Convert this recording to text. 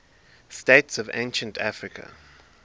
states of ancient africa